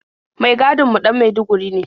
Mai gadin mu ɗan maiduguri ne.